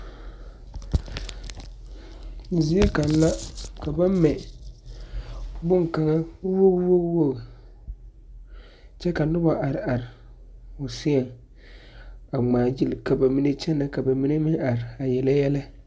Zie kaŋ la ka ba mɛ bonkaŋa woge woge kyɛ ka nobɔ are are o seɛŋ a ngmaagyile ka ba mine kyɛnɛ ka ba mine meŋ are a yele yɛlɛ.